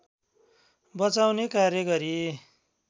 बचाउने कार्य गरी